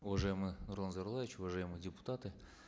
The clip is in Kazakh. уважаемый нурлан зайроллаевич уважаемые депутаты